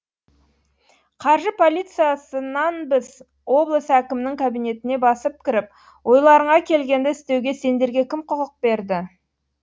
қаржы полициясынанбыз облыс әкімінің кабинетіне басып кіріп ойларыңа келгенді істеуге сендерге кім құқық берді